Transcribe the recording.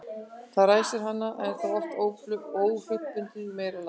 það sem ræsir hana er þá oft óhlutbundið í meira lagi